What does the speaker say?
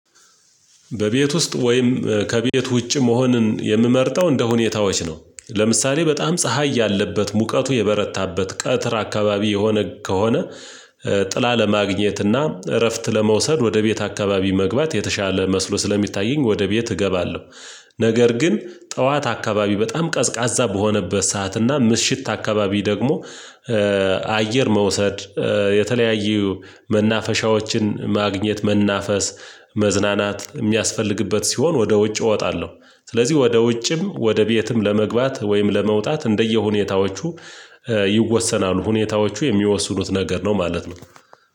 በቤት ውስጥ ወይም ከቤት ውጭ መሆንን የምመርጠው እንደሁኔታዎች ነው። ለምሳሌ በጣም ፀሀይ ያለበት ሙቀቱ የበረታበት ቀትር አካባቢ የሆነ ከሆነ። ጥላ ለማግኘትና እረፍት ለመውሰድ ወደ ቤት አካባቢ መግባት የተሻለ መስሎ ስለሚታየኝ ወደ ቤት እገባለሁ። ነገር ግን ጠዋት አካባቢ በጣም ቀዝቃዛ በሆነበት ሰዓት እና ምሽት አካባቢ ደግሞ አየር መውሰድ የተለያዩ መናፈሻዎችን ማግኘት መናፈስ መዝናናት የሚያስፈልግበት ሲሆን ወደ ውጭ እወጣለሁ። ስለዚህ ወደ ውጭም ወደ ቤትም ለመግባት ወይም ለመውጣት እንደየሁኔታዎቹ ይወሰናሉ ሁኔታዎቹ የሚወስኑት ነገር ነው ማለት ነው።